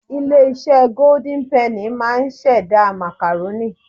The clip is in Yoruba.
Ilé iṣẹ́ Golden Penny máà ń ṣẹ̀dá. Màkàrónì